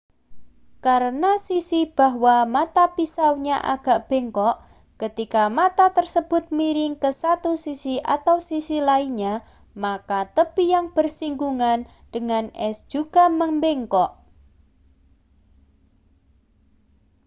karena sisi bahwa mata pisaunya agak bengkok ketika mata tersebut miring ke satu sisi atau sisi lainnya maka tepi yang bersinggungan dengan es juga membengkok